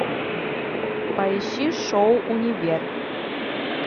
поищи шоу универ